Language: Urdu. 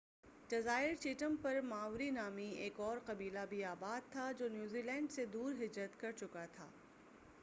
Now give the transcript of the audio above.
جزائر چیٹم پر ماؤری نامی ایک اور قبیلہ بھی آباد تھا جو نیوزی لینڈ سے دور ہجرت کر چکا تھا